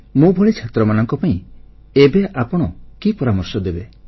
ମୋଭଳି ଛାତ୍ରମାନଙ୍କ ପାଇଁ ଏବେ ଆପଣ କି ପରାମର୍ଶ ଦେବେ